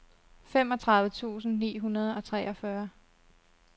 femogtredive tusind ni hundrede og treogfyrre